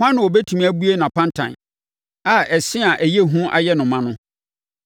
Hwan na ɔbɛtumi abue nʼapantan, a ɛse a ɛyɛ hu ayɛ no ma no?